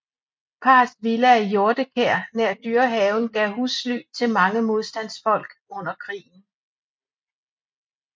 Parrets villa i Hjortekær nær Dyrehaven gav husly til mange modstandsfolk under krigen